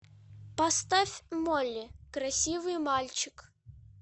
поставь молли красивый мальчик